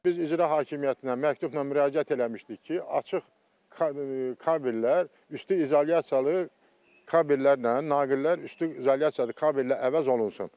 Biz İcra Hakimiyyətinə məktubla müraciət eləmişdik ki, açıq kabellər üstü izolyasiyalı kabellərlə, naqillər üstü izolyasiyalı kabellə əvəz olunsun.